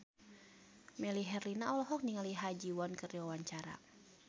Melly Herlina olohok ningali Ha Ji Won keur diwawancara